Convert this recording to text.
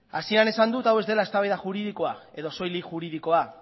hasieran esan dut hau ez dela eztabaida juridikoa edo soilik juridikoa